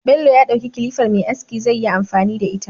Bello ya dauki kilifar Me aski zai yi amfani da ita